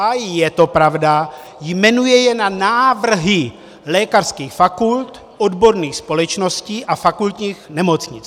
A je to pravda, jmenuje je na návrhy lékařských fakult, odborných společností a fakultních nemocnic.